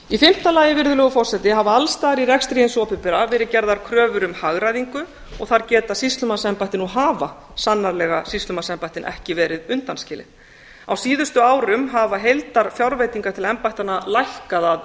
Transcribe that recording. í fimmta lagi virðulegur forseti hafa alls staðar í rekstri hins opinbera verið gerðar kröfur um hagræðingu og þar geta sýslumannsembættin og hafa sannarlega sýslumannsembættin ekki verið undanskilin á síðustu árum hafa heildarfjárveitingar til embættanna lækkað að